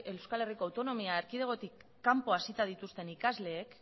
euskal herriko autonomia erkidegotik kanpoan hasita dituzten ikasleek